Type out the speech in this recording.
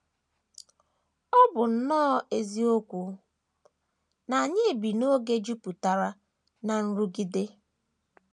Ọ bụ nnọọ eziokwu na anyị bi n’oge jupụtara ná nrụgide.